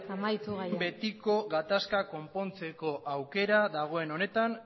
gaia behin betiko gatazka konpontzeko aukera dagoen honetan